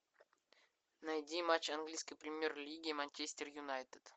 найди матч английской премьер лиги манчестер юнайтед